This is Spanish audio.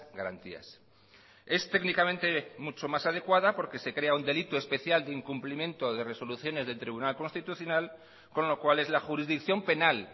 garantías es técnicamente mucho más adecuada porque se crea un delito especial de incumplimiento de resoluciones del tribunal constitucional con lo cual es la jurisdicción penal